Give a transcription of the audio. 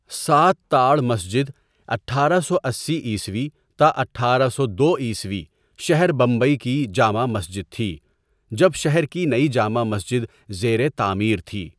سات تاڑ مسجد اٹھارہ سو اسی عیسوی تا اٹھارہ سو دو عیسوی شہر بمبئی کی جامع مسجد تھی، جب شہر کی نئی جامع مسجد زیرِ تعمیر تھی.